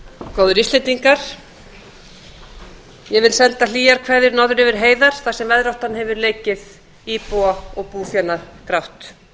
góðir íslendingar ég vil senda hlýjar kveðjur norður yfir heiðar þar sem veðráttan hefur leikið íbúa og búfénað grátt